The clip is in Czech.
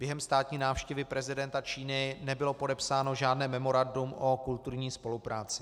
Během státní návštěvy prezidenta Číny nebylo podepsáno žádné memorandum o kulturní spolupráci.